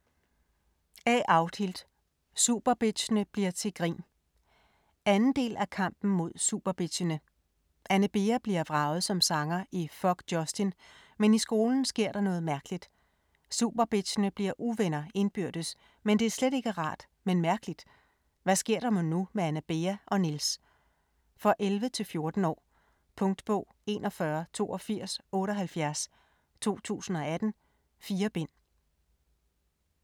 Solberg, A. Audhild: Superbitchene bliver til grin 2. del af Kampen mod superbitchene. Anne Bea bliver vraget som sanger i Fåck Jåstin, men i skolen sker noget mærkeligt. Superbitchene bliver uvenner indbyrdes, men det er slet ikke rart men mærkeligt. Hvad sker der mon nu med Anne Bea og Nils? For 11-14 år. Punktbog 418278 2018. 4 bind.